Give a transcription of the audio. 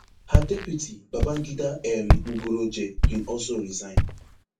her deputy babangida um nguroje bin also resign